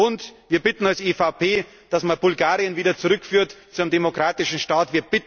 sagen. Und wir bitten als EVP, dass man Bulgarien wieder zurückführt zu einem demokratischen